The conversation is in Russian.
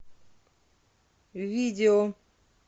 видео